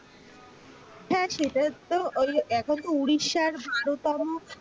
হ্যাঁ সেটা তো ওই এখন তো উড়িষ্যার ভারত তম,